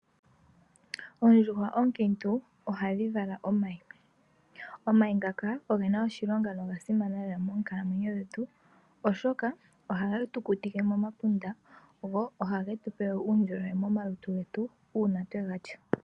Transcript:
Oondjuhwa oonkintu ohadhivala omayi, omayi ngaka ogena oshilonga oshoka ohagetukutike momapunda uuna twega lya.